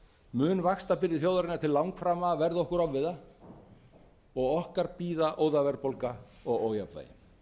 mun vaxtabyrði þjóðarinnar til langframa verða okkur ofviða og okkar bíða óðaverðbólga og ójafnvægi